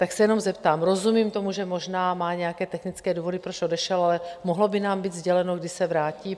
Tak se jenom zeptám - rozumím tomu, že možná má nějaké technické důvody, proč odešel, ale mohlo by nám být sděleno, kdy se vrátí?